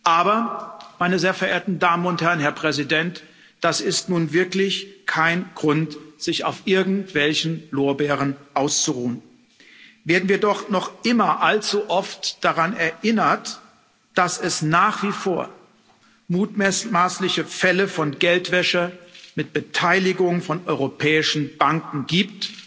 Aber, meine sehr verehrten Damen und Herren, Herr Präsident, das ist nun wirklich kein Grund, sich auf irgendwelchen Lorbeeren auszuruhen, werden wir doch noch immer allzu oft daran erinnert, dass es nach wie vor mutmaßliche Fälle von Geldwäsche mit Beteiligung von europäischen Banken gibt.